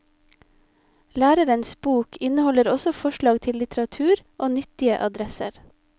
Lærerens bok inneholder også forslag til litteratur og nyttige adresser.